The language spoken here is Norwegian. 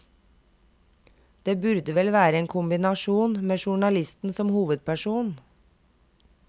Det burde vel være en kombinasjon med journalisten som hovedperson.